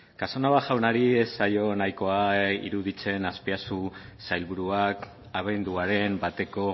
casanova jaunari ez zaio nahikoa iruditzen azpiazu sailburuak abenduaren bateko